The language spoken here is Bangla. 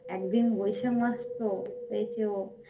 একদিন বৈশাখ মাস তো হয়েছে ও